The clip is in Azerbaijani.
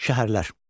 Şəhərlər.